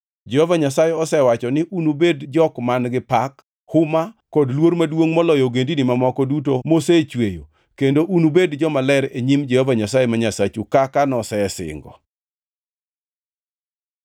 Jehova Nyasaye osewacho ni unubed jok man-gi pak, huma kod luor maduongʼ moloyo ogendini mamoko duto mosechweyo kendo unubed jomaler e nyim Jehova Nyasaye ma Nyasachu kaka nosesingo.